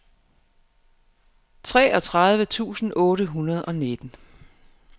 treogtredive tusind otte hundrede og nitten